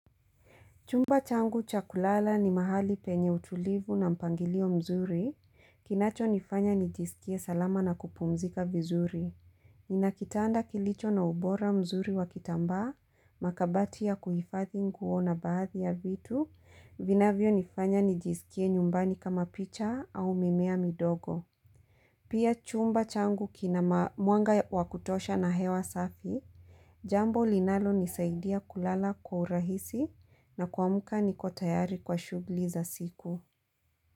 Chumba changu cha kulala ni mahali penye utulivu na mpangilio mzuri kinacho nifanya nijisikie salama na kupumzika vizuri Nina kitanda kilicho na ubora mzuri wa kitambaa na kabati ya kuhifadhi nguo na baadhi ya vitu vinavyo nifanya nijisikie nyumbani kama picha au mimea midogo. Pia chumba changu kina mwanga wa kutosha na hewa safi, jambo linalonisaidia kulala kwa urahisi na kuamka niko tayari kwa shughuli za siku.